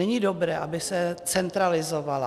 Není dobré, aby se centralizovalo.